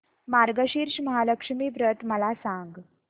मार्गशीर्ष महालक्ष्मी व्रत मला सांग